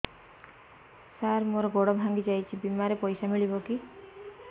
ସାର ମର ଗୋଡ ଭଙ୍ଗି ଯାଇ ଛି ବିମାରେ ପଇସା ମିଳିବ କି